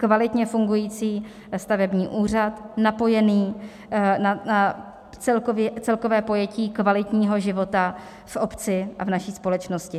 Kvalitně fungující stavební úřad napojený na celkové pojetí kvalitního života v obci a v naší společnosti.